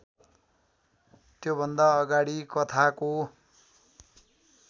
त्योभन्दा अगाडि कथाको